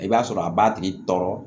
I b'a sɔrɔ a b'a tigi tɔɔrɔ